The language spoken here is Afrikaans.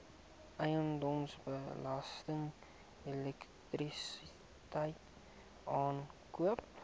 eiendomsbelasting elektrisiteit aankope